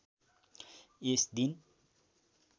यस दिन